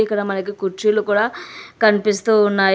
ఇక్కడ మనకి కుర్చీలు కూడా కనిపిస్తూ ఉన్నాయి.